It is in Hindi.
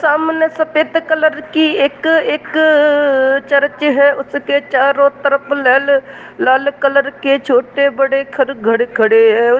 सामने सफेद कलर की एक-एक चर्च है| उसके चारों तरफ लाल - लाल कलर के छोटे-बड़े घर घर खड़े हैं।